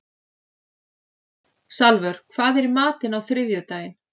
Salvör, hvað er í matinn á þriðjudaginn?